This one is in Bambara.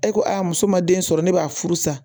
E ko a muso ma den sɔrɔ ne b'a furu sa